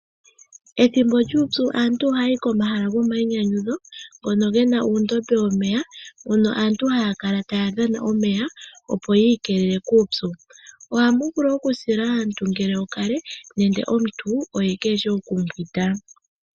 Ethimbo lyuupyu aantu ohaya yi komahala gomayinyanyudho ngono ge na uundombe womeya moka aantu haya kala taya dhana omeya opo yiikelele kuupyu. Ohamu vulu okusila aantu ngele okale nenge omuntu oye keeshi okumbwinda.